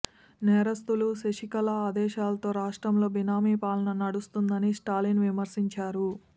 నేరస్తురాలు శశికళ ఆదేశాలతో రాష్ట్రంలో బినామీ పాలన నడుస్తున్నదని స్టాలిన్ విమర్శించారు